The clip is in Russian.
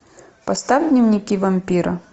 поставь дневники вампира